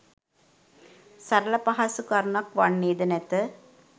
සරල පහසු කරුණක් වන්නේද නැත